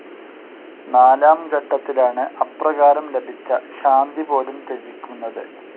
നാലാം ഘട്ടത്തിലാണ് അപ്രകാരം ലഭിച്ച ശാന്തി പോലും ത്യജിക്കുന്നത്.